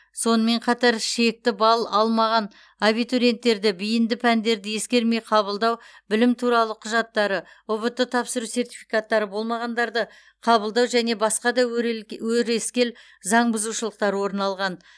сонымен қатар шекті балл алмаған абитуриенттерді бейінді пәндерді ескермей қабылдау білім туралы құжаттары ұбт тапсыру сертификаттары болмағандарды қабылдау және басқа да өрескел заң бұзушылықтар орын алған